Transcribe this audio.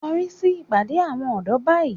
Korí síbi ìpàdé àwọn ọ̀dọ́ báyìí